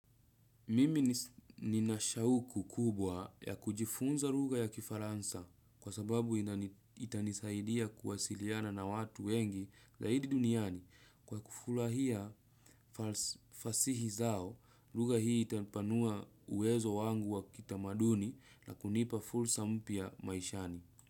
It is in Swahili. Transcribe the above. Mimi nina shauku kubwa ya kujifunza rugha ya kifaransa, kwa sababu itanisaidia kuwasiliana na watu wengi zaidi duniani kwa kufulahia fasihi zao, rugha hii itanipanua uwezo wangu wa kitamaduni na kunipa fulsa mpya maishani.